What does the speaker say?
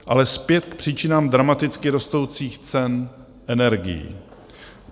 Ale zpět k příčinám dramaticky rostoucích cen energií.